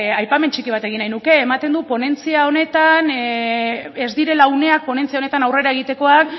aipamen txiki bat egin nahiko nuke ematen du ponentzia honetan ez direla uneak ponentzia honetan aurrera egitekoan